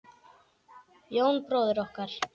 Jón bróðir okkar.